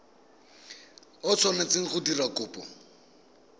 o tshwanetseng go dira kopo